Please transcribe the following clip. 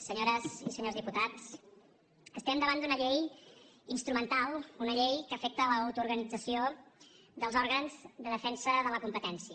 senyores i senyors diputats estem davant d’una llei instrumental una llei que afecta l’autoorganització dels òrgans de defensa de la competència